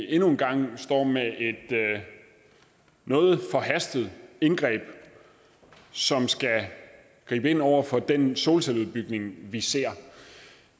en gang står med et noget forhastet indgreb som skal gribe ind over for den solcelleudbygning vi ser